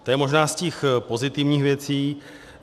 To je možná z těch pozitivních věcí.